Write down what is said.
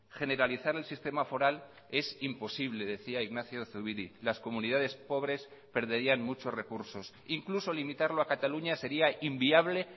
generalizar el sistema foral es imposible decía ignacio zubiri las comunidades pobres perderían muchos recursos incluso limitarlo a cataluña sería inviable